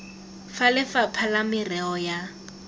ya lefapha la merero ya